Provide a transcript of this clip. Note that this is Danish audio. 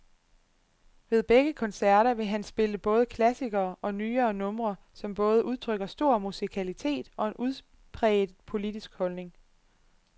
Ved begge koncerter vil han spille både klassikere og nyere numre, som både udtrykker stor musikalitet og en udpræget politisk holdning.